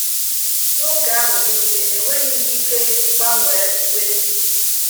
N’oge ahụ nile, enweghị m ike gbanwe uwe m yi.